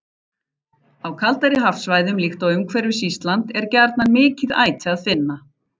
Á kaldari hafsvæðum, líkt og umhverfis Ísland, er gjarnan mikið æti að finna.